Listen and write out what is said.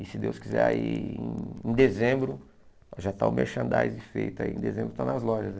E se Deus quiser aí em dezembro já está o merchandising feito aí, em dezembro está nas lojas aí.